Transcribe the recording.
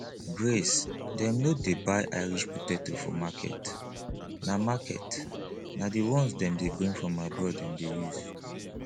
grace dem no dey buy irish potato for market na market na the ones dem dey bring from abroad dem dey use